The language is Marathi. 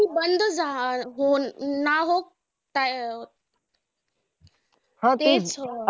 तिथं झाड हो नाहो काय अं तेच